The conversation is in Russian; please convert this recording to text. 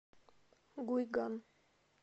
гуйган